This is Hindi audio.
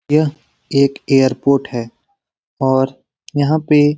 यह एक एयरपोर्ट है और यहाँ पे --